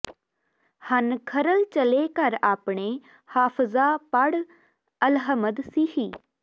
ਹਨ ਖਰਲ ਚਲੇ ਘਰ ਆਪਣੇ ਹਾਫ਼ਜ਼ਾ ਪੜ੍ਹ ਅਲਹਮਦ ਸੀਹੀ